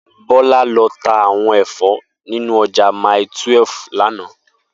Bola lò tá áwòn èfò ninú òjà màítúèf làná